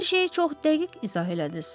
Hər şeyi çox dəqiq izah elədiz,